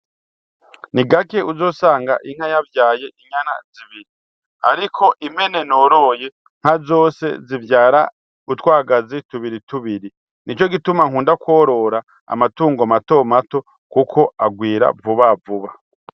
Ni gake uzosanga inka yavyaye inyana zibiri ariko impene noroye nka zose zivyara utwagazi tubiri tubiri nicogituma nkunda kworora amatungo mato mato kuko agwira vuba vuba.